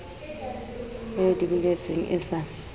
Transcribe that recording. e di boletseng e sa